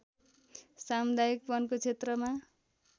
सामुदायिक वनको क्षेत्रमा